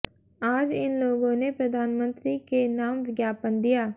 आज इन लोगों ने प्रधानमंत्री के नाम ज्ञापन दिया